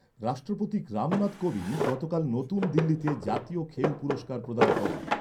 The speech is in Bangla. রাষ্ট্রপতি রামনাথ কোবিন্দ গতকাল নতুন দিল্লিতে জাতীয় খেল পুরস্কার প্রদান করেন।